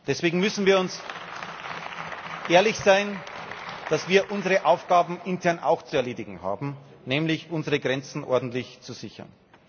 Deswegen müssen wir ehrlich sein, dass wir unsere Aufgaben intern auch zu erledigen haben, nämlich unsere Grenzen ordentlich zu sichern.